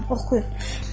Buyurun, oxuyun.